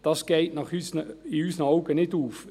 Das geht in unseren Augen nicht auf.